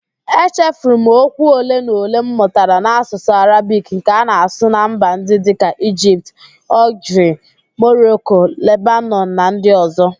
Echefuru m okwu ole na ole m mụtara n'Ạsụsụ Arabik nke a na-asụ na mba ndị dịka: Igipt, Ọlgiria, Moroko, Lebanọn na ndi ọzọ